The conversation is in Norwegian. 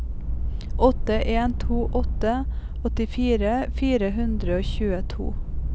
åtte en to åtte åttifire fire hundre og tjueto